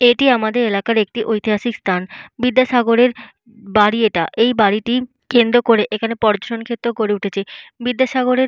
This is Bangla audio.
এটি আমাদের এলাকার একটি ইতিহাসিক স্থান। বিদ্যাসাগরের বাড়ি এটা। এই বাড়িটি কেন্দ্র করে এখানে পর্যটন ক্ষেত্র গড়ে উঠেছে। বিদ্যাসাগরের --